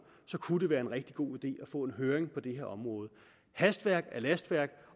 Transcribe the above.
kunne det være en rigtig god idé at få en høring på det her område hastværk er lastværk